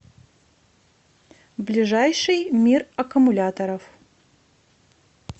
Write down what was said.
ближайший мир аккумуляторов